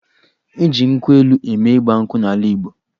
E ji nkwụ elu mee Ịgba nkwụ n'ala Igbo.